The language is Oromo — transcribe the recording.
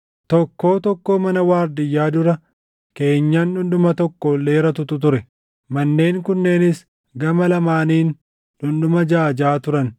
Tokkoo tokkoo mana waardiyyaa dura keenyan dhundhuma tokko ol dheeratutu ture; manneen kunneenis gama lamaaniin dhundhuma jaʼa jaʼa turan.